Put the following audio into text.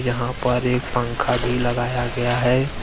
यहां पर एक पंखा भी लगाया गया है।